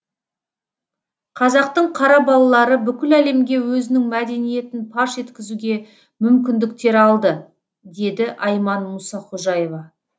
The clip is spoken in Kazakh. қазақтың қара балалары бүкіл әлемге өзінің мәдениетін паш еткізуге мүмкіндіктер алды деді айман мұсақожаева